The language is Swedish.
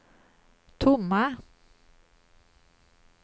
tomma